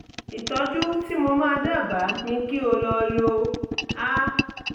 ìtọ́jú tí mo máa dábàá ni kí o lọ lo: (a